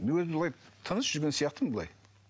мен өзім былай тыныш жүрген сияқтымын былай